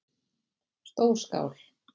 Stór skál